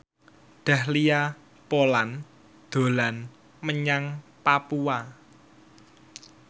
Dahlia Poland dolan menyang Papua